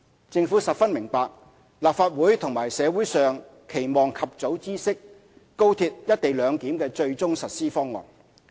政府十分明白，立法會及社會上期望及早知悉高鐵"一地兩檢"的最終實施方案。